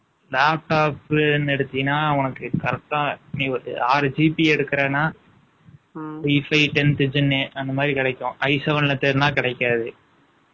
laptop ன்னு எடுத்தீங்கன்னா, உனக்கு correct ஆ, நீ ஒரு ஆறு GB எடுக்கறேன்னா, 33 . ம், tenth இதுன்னு, அந்த மாதிரி கிடைக்கும். I seven ல தேடுனா, கிடைக்காது.